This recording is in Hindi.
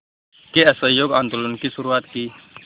के असहयोग आंदोलन की शुरुआत की